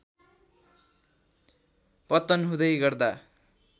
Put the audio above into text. पतन हुँदै गर्दा